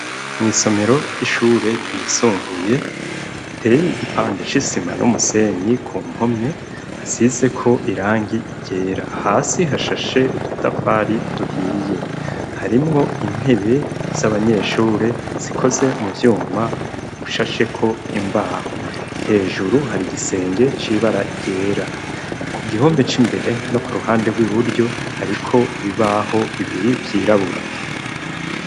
Mw'isomero ry'ishure ryisumbuye, riteye igipande c'isima n'umusenyi, ku mpome hasize ko irangi ryera, hasi hashashe udutafari duhiye. Harimwo intebe z'abanyeshure zikoze mu vyuma bishasheko imbaho. Hejuru hari igisenge c'ibara ryera. Ku gihome c'imbere no ku ruhande rw'iburyo hariko ibibaho bibiri vyirabura.